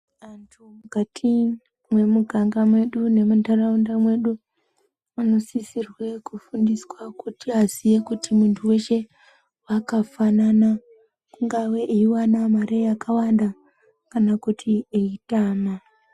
Andu ngati mumwiganga mwedu nemundaraunda mwedu vanosisirwe kufundiswa kuti vaziye kuti muntu weshe akafanana kungave eyiwanawo mare yakawanda kana kuti eyitama.